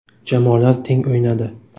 Jamoalar teng o‘ynadi.